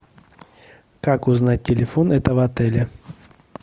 как узнать телефон этого отеля